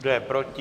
Kdo je proti?